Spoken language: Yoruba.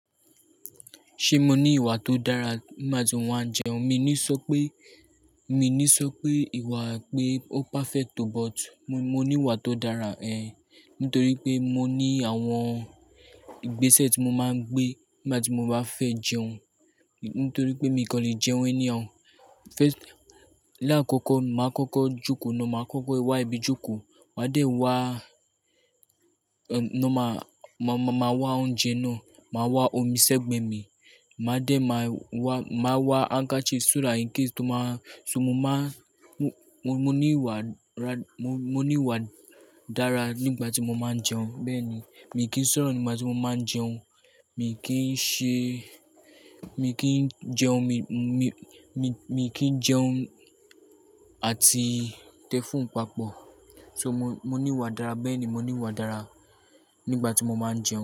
Ṣé mo ní ìwà tó dára nígbà tí mo máa ń jẹun? Mi ò ní sọ pé, mi ò ní sọ pé ìwà pé ó perfect o, but mo ní ìwà tó dára ẹ, nítorí pé mo ní àwọn ìgbésẹ̀ tí mo máa ń gbé nígbà tí mo bá fẹ́ jẹun. Nítorí pé mi kò lè jẹun enihao. Láàkọ́kọ́, màá kọ́kọ́ jókòó náà, màá kọ́kọ́ wá ibi jókòó, màá dẹ̀ wá, náà má, má, má wá oúnjẹ náà, màá wá omi ṣẹ́gbẹ̀ẹ́ mi, màá dẹ̀ má wá, màá wá hanga ṣe súrá yín kí n tó má-- so mo má-- mo, mo ní ìwà dára, mo, mo ní ìwà dára nígbà tí mo máa ń jẹun. Bẹ́ẹ̀ ni, mi kì í sọ̀rọ̀ nígbà tí mo máa ń jẹun, mi kì í ṣe-- mi kì í jẹun, mi, mi, mi, mi kì í jẹun àti tẹ fún papọ̀. So mo, mo ní ìwà dára, bẹ́ẹ̀ ni mo ní ìwà dára nígbà tí mo máa ń jẹun.